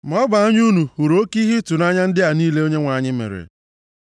Ma ọ bụ anya unu hụrụ oke ihe ịtụnanya ndị a niile Onyenwe anyị mere.